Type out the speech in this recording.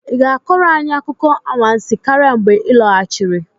Ị ga-akọrọ anyị akụkọ anwansi karịa mgbe ị lọghachiri?